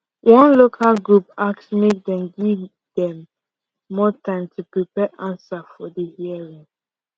one local group ask make dem give dem more time to prepare answer for the hearing